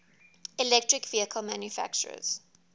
electric vehicle manufacturers